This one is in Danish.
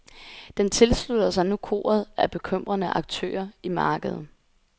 Den tilslutter sig nu koret af bekymrede aktører i markedet.